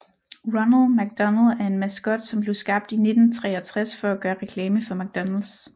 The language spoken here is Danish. Ronald McDonald er en maskot som blev skabt i 1963 for at gøre reklame for McDonalds